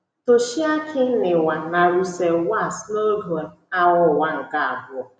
Toshiaki Niwa na Russell Werts n’oge Agha Ụwa nke Abụọ